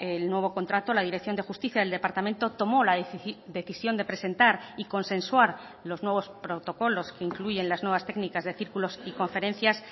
el nuevo contrato la dirección de justicia del departamento tomó la decisión de presentar y consensuar los nuevos protocolos que incluyen las nuevas técnicas de círculos y conferencias